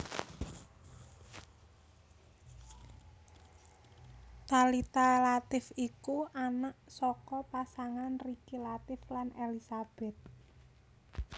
Thalita Latief iku anak saka pasangan Riki Latief lan Elisabeth